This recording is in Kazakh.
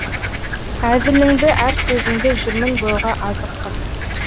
әзіліңді әр сөзіңді жүрмін бойға азық қып